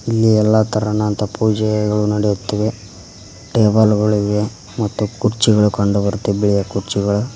ಇಲ್ಲಿ ಎಲ್ಲಾ ತರನಾದ ಪೂಜೆಯಗಳು ನಡೆಯುತ್ತಿವೆ ಟೇಬಲ್ ಗಳು ಇವೆ ಮತ್ತು ಕುರ್ಚಿಗಳು ಕಂಡು ಬರ್ತಿವೆ ಬಿಳಿಯ ಕುರ್ಚಿಗಳ--